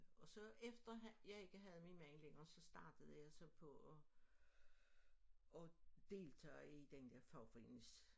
Og så efter han jeg ikke havde min mand længere så startede jeg så på at deltage i den der fagforenings